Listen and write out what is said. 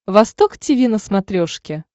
восток тиви на смотрешке